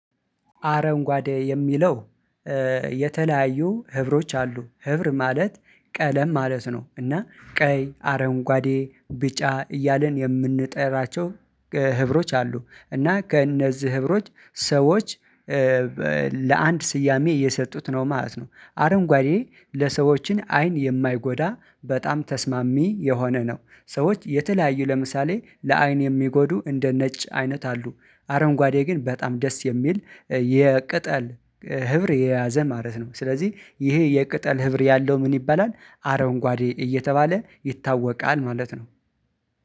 አረንጓዴ የሚለው የተለያዩ ህብሮች አሉ ህብር ማለት ቀለም ማለት ነው። እና ቀይ አረንጓዴ ቢጫ እያልን የምንጠራቸው ህብሮች አሉ። እና ከእነዚህ ህብሮች ሰዎች ለአንድ ስያሜ እየሰጡት ነው ማለት ነው። አረንጓዴ ለሰዎችን አይን የማይጎዳ በጣም ተስማሚ የሆነ ነው። ሰዎች የተለያዩ ለምሳሌ ለአይን የሚጎዱ እንደ ነጭ አይነት አሉ። አረንጓዴ ግን በጣም ደስ የሚል የቅጠል ህብር የያዘ ማለት ነው። ስለዚህ ይሄ የቅጠል ህብር ያለው ምን ይባላል? አረንጓዴ እየተባለ ይታወቃል ማለት ነው